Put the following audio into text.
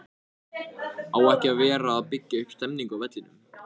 Á ekki að vera að byggja upp stemningu á vellinum??